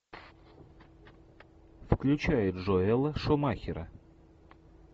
включай джоэла шумахера